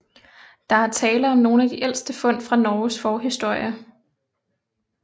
Der er tale om nogle af de ældste fund fra Norges forhistorie